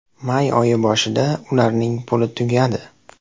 May oyi boshida ularning puli tugadi.